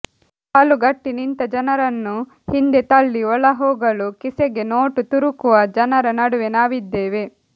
ಸಾಲುಗಟ್ಟಿ ನಿಂತ ಜನರನ್ನು ಹಿಂದೆ ತಳ್ಳಿ ಒಳಹೋಗಲು ಕಿಸೆಗೆ ನೋಟು ತುರುಕುವ ಜನರ ನಡುವೆ ನಾವಿದ್ದೇವೆ